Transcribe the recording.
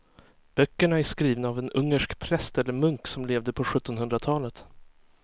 Böckerna är skrivna av en ungersk präst eller munk som levde på sjuttonhundratalet.